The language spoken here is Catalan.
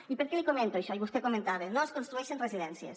i per què li comento això i vostè comentava no es construeixen residències